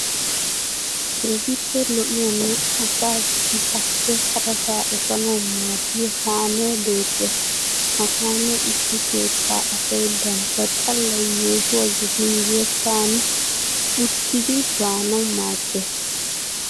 Keehippe lo'iyaanne asaa issisaappe harasaa efanawu maaddiya kaamee beettes. Ha kaamee issi kettaa asay bantta xallay yeehuwa gidin yetta aani uttidi baanawu maaddes.